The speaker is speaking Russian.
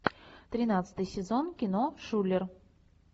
тринадцатый сезон кино шулер